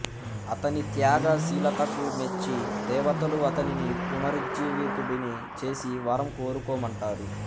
అతని త్యాగ శీలతకు మెచ్చి దేవతలు అతనిని పునరుజ్జీవితుడిని చేసి వరం కోరుకోమంటారు